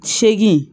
Seegin